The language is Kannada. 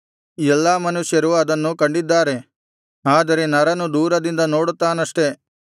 ಎಲ್ಲಾ ಮನುಷ್ಯರೂ ಅದನ್ನು ಕಂಡಿದ್ದಾರೆ ಆದರೆ ನರನು ದೂರದಿಂದ ನೋಡುತ್ತಾನಷ್ಟೆ